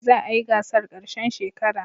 Za a yi gasar ƙarshen shekara.